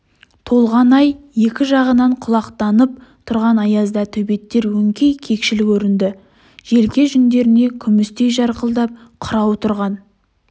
толған ай екі жағынан құлақтанып тұрған аязда төбеттер өңкей кекшіл көрінді желке жүндеріне күмістей жарқылдап қырау тұрған